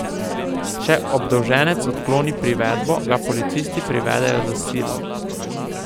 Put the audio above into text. Če obdolženec odkloni privedbo, ga policisti privedejo s silo.